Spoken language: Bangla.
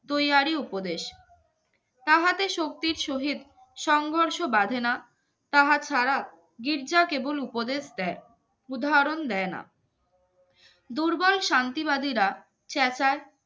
তুই আরি উপদেশ সংঘর্ষ বাজে না তাহা ছাড়া গির্জা কেবল উপদেশ দেয় উদাহরণ দেয় না দুর্বল শান্তিবাদীরা চেঁচায়